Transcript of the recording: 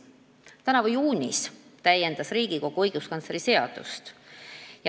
Tänavu juunis täiendas Riigikogu õiguskantsleri seadust.